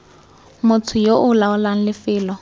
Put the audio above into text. motho yo o laolang lefelo